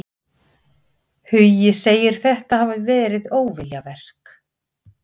Hugi segir þetta hafa verið óviljaverk.